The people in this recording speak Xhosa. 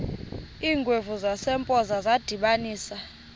iingwevu zasempoza zadibanisana